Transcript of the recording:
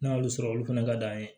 N'a y'olu sɔrɔ olu fana ka d'an ye